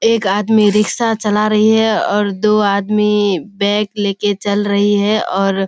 एक आदमी रिक्शा चला रही है और दो आदमी बैग लेकर चल रही है और --